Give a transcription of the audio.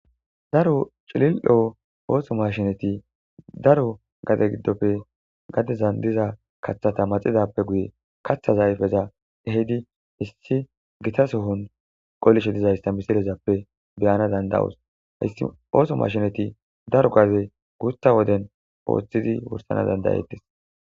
Daaro ciililo oso mashshineti daaro gade giddoppe gadezan diiza kaththata maxidappe guye kaththa ayfeza ehiddi issti giita sohon qollishe diizayssa missilezappe be'anawu danda'osu hayssi oso mashshinet daaro gaade gutta woden oththidi wurssana danda'ettes.